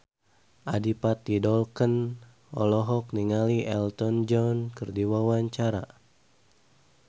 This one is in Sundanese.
Adipati Dolken olohok ningali Elton John keur diwawancara